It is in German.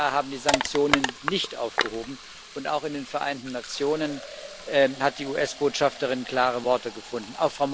Die USA haben die Sanktionen nicht aufgehoben, und auch in den Vereinten Nationen hat die US Botschafterin klare Worte gefunden.